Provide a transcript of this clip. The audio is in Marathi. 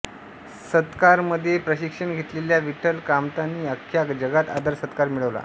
सत्कारमध्ये प्रशिक्षण घेतलेल्या विठ्ठल कामतांनी आख्ख्या जगात आदरसत्कार मिळवला